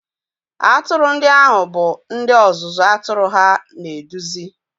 Atụrụ ndị ahụ bụ ndị ọzụzụ atụrụ ha na-eduzi